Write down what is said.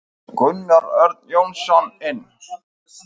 Gunnar Örn Jónsson inn.